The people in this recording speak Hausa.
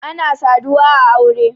ana saduwa a aure